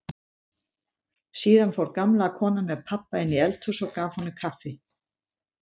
Síðan fór gamla konan með pabba inn í eldhús og gaf honum kaffi.